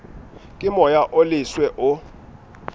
ke moya o leswe o